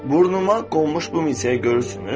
Burnuma qonmuş bu milçəyi görürsünüz?